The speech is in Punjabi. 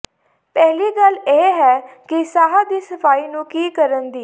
ਪਹਿਲੀ ਗੱਲ ਇਹ ਹੈ ਕਿ ਸਾਹ ਦੀ ਸਫਾਈ ਨੂੰ ਕੀ ਕਰਨ ਦੀ